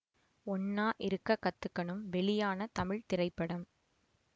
ஒண்ணா இருக்க கத்துக்கணும் வெளியான தமிழ் திரைப்படம்